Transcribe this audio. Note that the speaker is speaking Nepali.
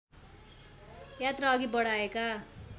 यात्रा अघि बढाएका